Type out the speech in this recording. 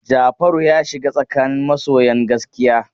Jafaru ya shiga tsakanin masoyan gaskiya.